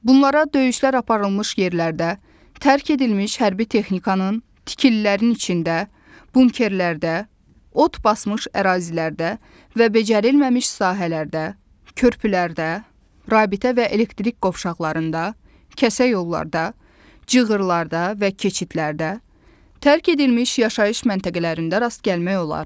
Bunlara döyüşlər aparılmış yerlərdə, tərk edilmiş hərbi texnikanın, tikililərin içində, bunkerlərdə, ot basmış ərazilərdə və becərilməmiş sahələrdə, körpülərdə, rabitə və elektrik qovşaqlarında, kəsə yollarda, cığırrlarda və keçidlərdə, tərk edilmiş yaşayış məntəqələrində rast gəlmək olar.